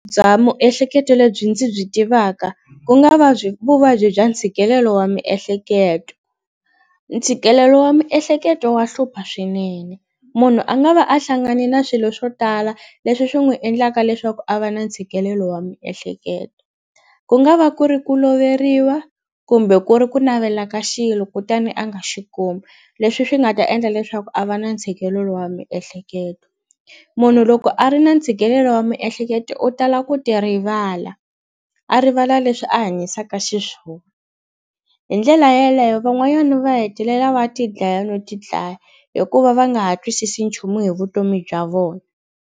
Bya miehleketo lebyi ndzi byi tivaka ku nga va byi vuvabyi bya ntshikelelo wa miehleketo ntshikelelo wa miehleketo wa hlupha swinene munhu a nga va a hlangane na swilo swo tala leswi swi n'wi endlaka leswaku a va na ntshikelelo wa miehleketo ku nga va ku ri ku loveriwa kumbe ku ri ku navela ka xilo kutani a nga xi kumi leswi swi nga ta endla leswaku a va na ntshikelelo wa miehleketo munhu loko a ri na ntshikelelo wa miehleketo u tala ku ti rivala a rivala leswi a hanyisaka xiswona hi ndlela yeleyo van'wanyana va hetelela va tidlaya no tidlaya hikuva va nga ha twisisi nchumu hi vutomi bya vona.